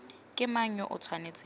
ke mang yo o tshwanetseng